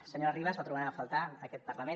senyora ribas la trobarem a faltar aquest parlament